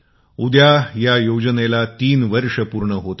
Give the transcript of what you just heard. उद्या या योजनेला ३ वर्ष पूर्ण होत आहेत